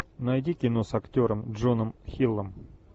найди кино с актером джоном хиллом